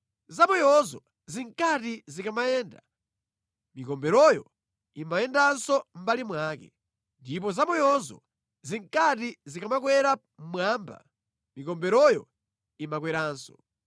Zamoyozo zinkati zikamayenda, mikomberoyo imayendanso mʼmbali mwake; ndipo zamoyozo zinkati zikamakwera mmwamba, mikomberoyo imakweranso.